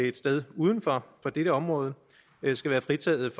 et sted uden for dette område skal være fritaget